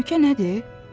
Təhlükə nədir?